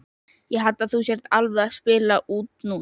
Ég held að þú sért alveg að spila út núna!